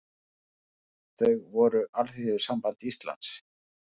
Þau voru Alþýðusamband Íslands